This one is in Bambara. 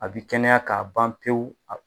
A bi kɛnɛya k'a ban pewu